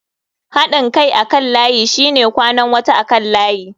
Haɗin kai akan layi shine kwanan wata akan layi.